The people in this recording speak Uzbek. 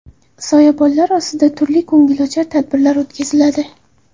Soyabonlar ostida turli ko‘ngilochar tadbirlar o‘tkaziladi.